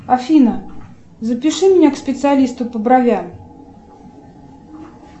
афина запиши меня к специалисту по бровям